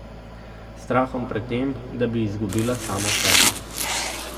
S strahom pred tem, da bi izgubila samo sebe.